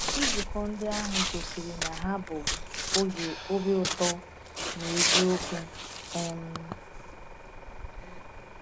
Nzukọ ndị ahụ gosiri na ha bụ oge obi ụtọ n’eziokwu. um